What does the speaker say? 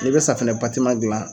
N'i bɛ safunɛ gilan